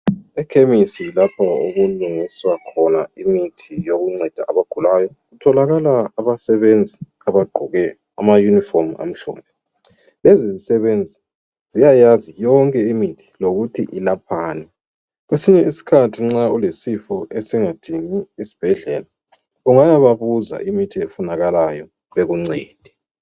Ekhemisi lapho okulungiswa khona imithi yokunceda abagulayo. Kutholakala abasebenzi abagqoke ama uniform amhlophe .Lezi zisebenzi ziyayazi yonke imithi lokuthi ilaphani. Kwesinye isikhathi nxa ulesifo esingadingi isibhedlela ungayababuza imithi efunakalayo bekuncede.